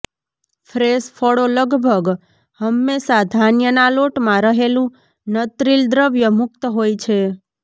fresh ફળો લગભગ હંમેશાં ધાન્યના લોટમાં રહેલું નત્રિલ દ્રવ્ય મુક્ત હોય છે